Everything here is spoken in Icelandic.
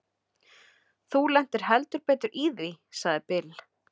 Þú lentir heldur betur í því, sagði Bill.